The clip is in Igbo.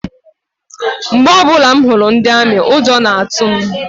Mgbe ọbụla m hụrụ ndi amị, ụjọ na-atụ m.